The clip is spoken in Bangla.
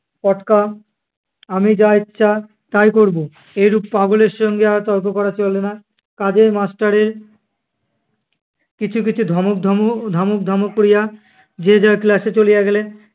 পটকা আমি যা ইচ্ছা তাই করবো। এরূপ পাগলের সঙ্গে আর তর্ক করা চলে না। কাজেই master এর কিছু কিছু ধমক ধম~ ধমক ধামক লইয়া যে যার class এ চলিয়া গেলে।